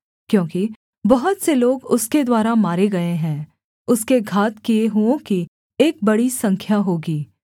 क्योंकि बहुत से लोग उसके द्वारा मारे गए है उसके घात किए हुओं की एक बड़ी संख्या होगी